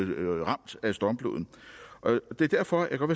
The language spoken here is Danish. blev ramt af stormfloden det er derfor jeg godt